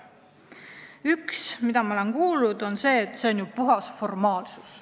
Üks argument, mida ma olen kuulnud, on see, et see on ju puhas formaalsus.